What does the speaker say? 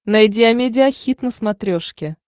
найди амедиа хит на смотрешке